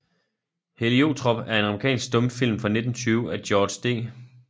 Heliotrop er en amerikansk stumfilm fra 1920 af George D